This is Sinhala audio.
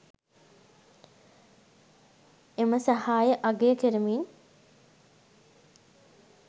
එම සහාය අගය කරමින්